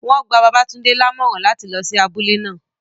Won gba Babatunde lamoran lati lo si abule naa